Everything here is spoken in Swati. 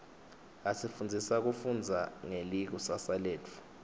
asifundzisa kufundza ngelikusasa letfu